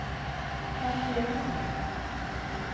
markering